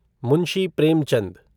Munshi Premchand